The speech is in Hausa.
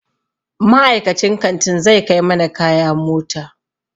Ma'aikacin kantin zai kai mana kaya mota.